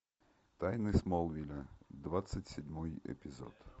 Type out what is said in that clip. тайны смолвиля двадцать седьмой эпизод